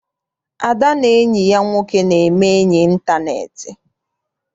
Ada na enyi ya nwoke na-eme enyi intaneeti.